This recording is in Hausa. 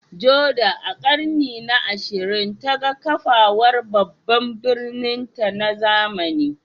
Jordan, a ƙarni na 20, ta ga kafawar babban birninta na zamani.